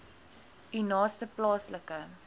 u naaste plaaslike